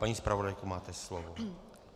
Paní zpravodajko, máte slovo.